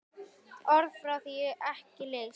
Orð fá því ekki lýst.